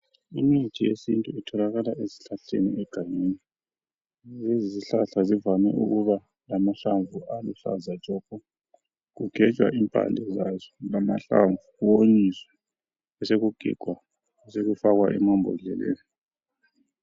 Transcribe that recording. Imithi yesintu itholakala ezihlahleni egangeni. Lezizihlahla zivame ukuba lamahlamvu aluhlaza tshoko. Kugejwa impande zazo lamahlamvu kuwonyiswe besekugigwa besekufakwa emambodleleni.